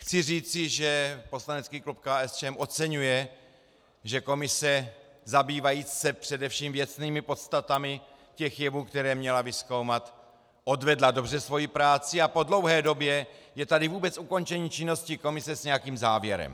Chci říci, že poslanecký klub KSČM oceňuje, že komise zabývající se především věcnými podstatami těch jevů, které měla vyzkoumat, odvedla dobře svoji práci a po dlouhé době je tady vůbec ukončení činnosti komise s nějakým závěrem.